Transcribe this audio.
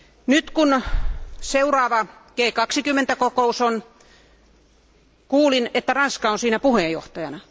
Nyt kun on seuraava G20 kokous, kuulin, että Ranska toimii siinä puheenjohtajana.